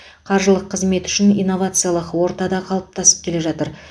қаржылық қызмет үшін инновациялық орта да қалыптасып келе жатыр